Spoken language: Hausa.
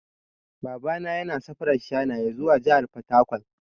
Baba na yana safarar shanaye zuwa jahar fataƙwal.